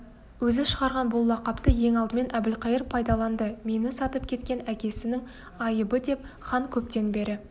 өзі шығарған бұл лақапты ең алдымен әбілқайыр пайдаланды мені сатып кеткен әкесінің айыбыдеп хан көптен бері